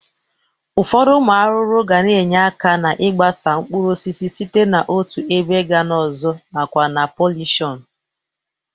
Ụfọdụ ụmụ arụrụ ga na-enye aka n'ịgbasa mkpuruosisi site n'otu ebe ga n'ọzọ nakwa na polineshọn